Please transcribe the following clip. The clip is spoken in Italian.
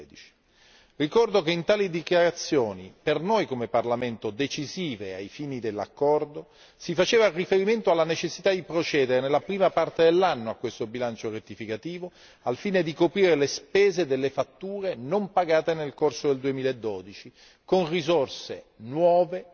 2013. Ricordo che in tali dichiarazioni decisive ai fini dell'accordo per il Parlamento europeo si faceva riferimento alla necessità di procedere nella prima parte dell'anno a questo bilancio rettificativo al fine di coprire le spese delle fatture non pagate nel corso del 2012 con risorse nuove,